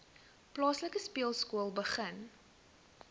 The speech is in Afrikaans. plaaslike speelskool begin